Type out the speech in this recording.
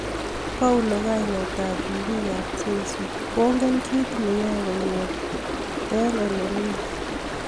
Paulo, kainet ab ribik ab jeiso kongen ki nekiyoei kongetkei olemi .